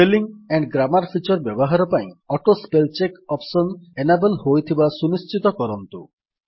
spelling and grammar feature ବ୍ୟବହାର ପାଇଁ auto spell check option enable ହୋଇଥିବା ସୁନିଶ୍ଚିତ କରନ୍ତୁ